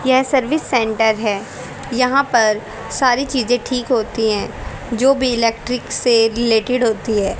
यह service center है यहां पर सारी चीजें ठीक होती हैं जो भी इलेक्ट्रिक से रिलेटेड होती है।